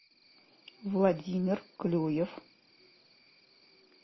владимир клюев